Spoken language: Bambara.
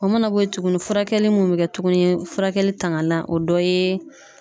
O mana bɔ yen tuguni furakɛli mun be kɛ tuguni furakɛli tangan la o dɔ ye